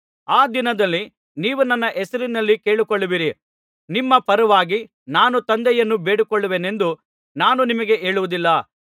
ಆ ದಿನದಲ್ಲಿ ನೀವು ನನ್ನ ಹೆಸರಿನಲ್ಲಿ ಕೇಳಿಕೊಳ್ಳುವಿರಿ ನಿಮ್ಮ ಪರವಾಗಿ ನಾನು ತಂದೆಯನ್ನು ಬೇಡಿಕೊಳ್ಳುವೆನೆಂದು ನಾನು ನಿಮಗೆ ಹೇಳುವುದಿಲ್ಲ